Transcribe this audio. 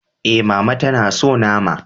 E, Mama ta na so nama.